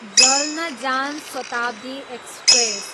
जल्न जान शताब्दी एक्सप्रेस